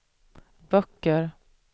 böcker